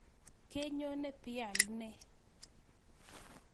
Kenyone pialenee?